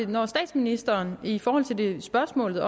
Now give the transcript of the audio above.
når statsministeren i forhold til spørgsmålet